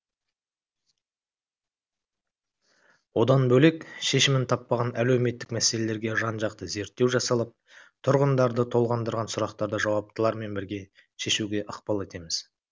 одан бөлек шешімін таппаған әлеуметтік мәселелерге жан жақты зерттеу жасалып тұрғындарды толғандырған сұрақтарды жауаптылармен бірге шешуге ықпал етеміз